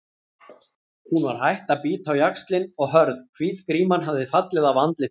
Hún var hætt að bíta á jaxlinn og hörð, hvít gríman hafði fallið af andlitinu.